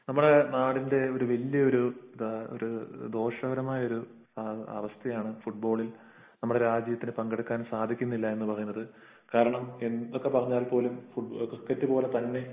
നമ്മുടെ നാടിൻറെ വലിയ ഒരു ദോഷകരമായ അവസ്ഥയാണ് ഫുട്ബാളിൽ ഒരു നമ്മുടെ രാജ്യത്തിന് പങ്കെടുക്കാൻ സാധിക്കുന്നില്ല എന്ന് പറയുന്നത്. കാരണം എന്തൊക്കെ പറഞ്ഞാലും ക്രിക്കറ്റ് പോലെത്തന്നെ